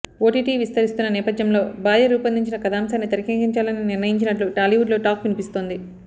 OTT విస్తరిస్తున్న నేపథ్యంలో భార్య రూపొందించిన కథాంశాన్ని తెరక్కించాలని నిర్ణయించినట్లు టాలీవుడ్లో టాక్ వినిపిస్తోంది